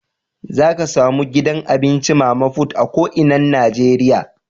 Za ka samu gidan abinci mama put a ko inan Nijeriya.